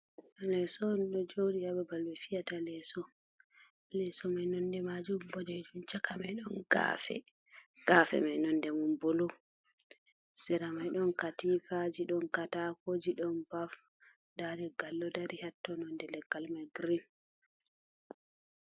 Leso on ɗo jodi ha babal ɓe fiyata leso. Leso mai nonɗe majum boɗejum chaka mai don gafe, gafe mai nonɗe mun blue. Sera mai don katifaji, don katakoji, don baf nda leggal ɗo dari hatto nonɗe leggal mai green.